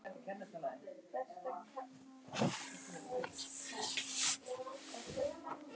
erfiðasti hluti ferlisins er líklega að setja hreina bleiu á barnið